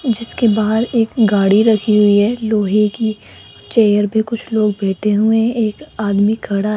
जीसके बाहर एक गाड़ी रखी हुई है लोहे की चेयर पे कुछ लोग बैठे हुए एक आदमी खड़ा --